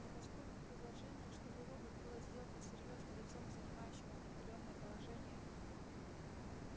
но поскольку предположение что вы робот было сделано серьёзно лицом занимающим определённое положение